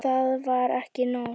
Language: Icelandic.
Og það var ekki nóg.